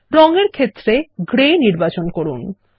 রঙ এর ক্ষেত্রে গ্রে নির্বাচন করুন